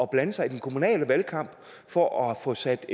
blande sig i den kommunale valgkamp for at få sat